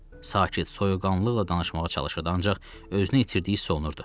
Sakit, soyuqqanlıqla danışmağa çalışırdı, ancaq özünü itirdiyi hiss olunurdu.